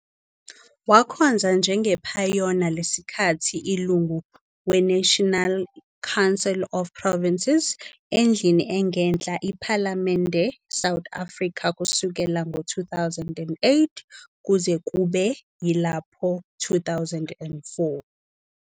Wakhonza njengephayona lesikhathi ilungu weNational Council of Provinces, endlini engenhla Iphalamende South Africa, kusukela ngo-2008 kuze kube yilapho 2014.